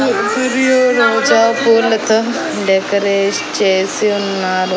Decorate చేసి ఉన్నారు.